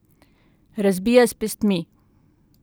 Razbija s pestmi.